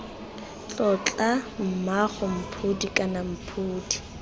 tlotla mmaagwe mphodi kana mphodi